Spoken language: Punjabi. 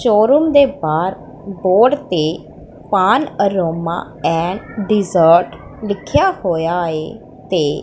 ਸ਼ੋਰੂਮ ਦੇ ਬਾਹਰ ਬੋਰਡ ਤੇ ਪਾਨ ਅਰੋਮਾ ਐਂਡ ਡੀਜ਼ਰਟ ਲਿਖਿਆ ਹੋਇਆ ਏ ਤੇ --